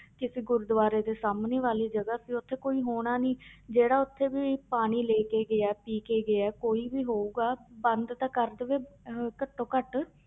ਕਿਸੇ ਗੁਰਦੁਆਰੇ ਦੇ ਸਾਹਮਣੇ ਵਾਲੀ ਜਗ੍ਹਾ ਵੀ ਉੱਥੇ ਕੋਈ ਹੋਣਾ ਨੀ ਜਿਹੜਾ ਉੱਥੇ ਵੀ ਪਾਣੀ ਲੈ ਕੇ ਗਿਆ ਪੀ ਕੇ ਗਿਆ ਕੋਈ ਵੀ ਹੋਊਗਾ ਬੰਦ ਤਾਂ ਕਰ ਦੇਵੇ ਅਹ ਘੱਟੋ ਘੱਟ